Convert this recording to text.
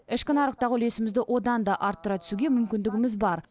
ішкі нарықтағы үлесімізді одан да арттыра түсуге мүмкіндігіміз бар